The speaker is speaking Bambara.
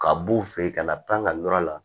Ka b'u fɛ yen ka na pan ka na la